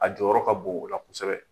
A jɔyɔrɔ ka bon o ola kosɛbɛ